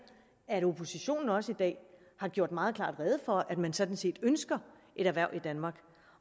at oppositionen også i dag har gjort meget klart rede for at man sådan set ønsker et erhverv i danmark